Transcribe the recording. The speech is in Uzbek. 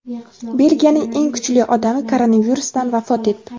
"Belgiyaning eng kuchli odami" koronavirusdan vafot etdi.